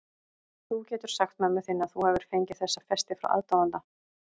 Þú getur sagt mömmu þinni að þú hafir fengið þessa festi frá aðdáanda.